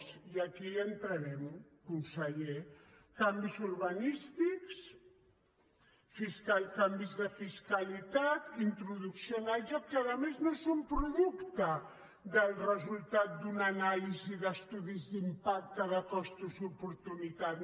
i aquí hi entrarem conseller canvis urbanístics canvis de fiscalitat introducció al joc que a més no és un producte del resultat d’una anàlisi d’estudis d’impacte de costos i oportunitats